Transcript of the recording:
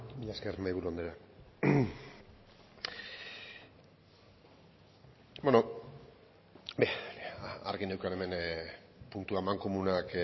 mila esker mahaiburu andrea bueno argi neukan hemen puntu amankomunak